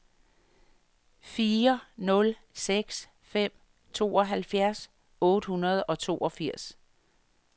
fire nul seks fem tooghalvfjerds otte hundrede og toogfirs